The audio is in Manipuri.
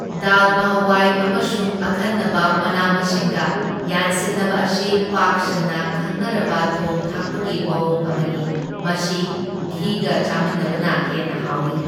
ꯗꯥꯜꯃꯥ ꯍꯋꯥꯏ ꯑꯃꯁꯨꯡ ꯑꯈꯟꯅꯕ ꯃꯅꯥ ꯃꯁꯤꯡꯒ ꯌꯥꯟꯁꯤꯟꯅꯕ ꯑꯁꯤ ꯄꯥꯛ ꯁꯟꯅ ꯈꯪꯅꯔꯕ ꯊꯣꯡ ꯊꯥꯛꯄꯒꯤ ꯃꯋꯣꯡ ꯑꯃꯅꯤ, ꯃꯁꯤ ꯘꯤꯒ ꯆꯥꯃꯤꯟꯅꯕꯅ ꯍꯦꯟꯅ ꯍꯥꯎꯢ꯫